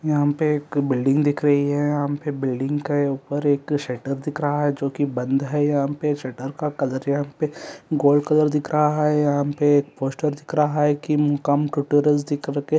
यहाँ पे एक बिल्डिंग दिख रही हैं यहाँ पे बिल्डिंग का ऊपर एक शटर दिख रहा हैं जो के बंद हैं यहाँ पे शटर का कलर यहाँ पे गोल्ड कलर दिख रहा हैं यहाँ पे एक पोस्टर दिख रहा हैं की मुकाम टुटोरिअल्स दिख रहा--